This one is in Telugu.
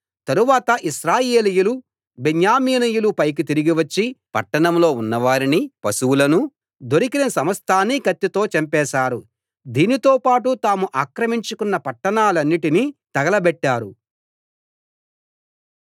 తరువాత ఇశ్రాయేలీయులు బెన్యామీనీయుల పైకి తిరిగి వచ్చి పట్టణంలో ఉన్నవారిని పశువులనూ దొరికిన సమస్తాన్నీ కత్తితో చంపేశారు దీనితో పాటు తాము ఆక్రమించుకున్న పట్టణాలన్నిటినీ తగలబెట్టారు